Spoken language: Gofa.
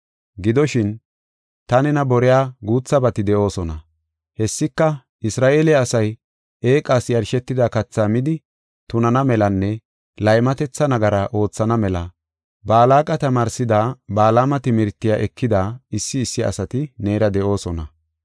Gidoshin, ta nena boriya guuthabati de7oosona. Hessika Isra7eele asay eeqas yarshetida kathaa midi tunana melanne laymatetha nagara oothana mela Balaaqa tamaarsida Balaama timirtiya ekida issi issi asati neera de7oosona.